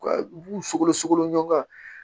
U ka u b'u sogolo sogolo ɲɔng na